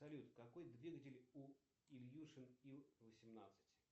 салют какой двигатель у ильюшин ил восемнадцать